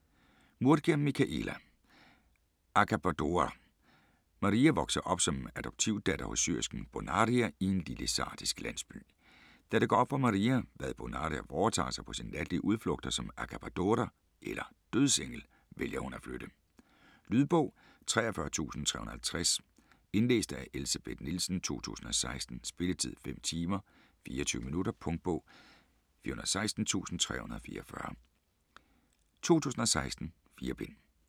Murgia, Michela: Accabadora Maria vokser op som adoptivdatter hos syersken Bonaria i en lille sardisk landsby. Da det går op for Maria, hvad Bonaria foretager sig på sine natlige udflugter som accabadora eller dødsengel, vælger hun at flytte. Lydbog 43350 Indlæst af Elsebeth Nielsen, 2016. Spilletid: 5 timer, 24 minutter. Punktbog 416344 2016. 4 bind.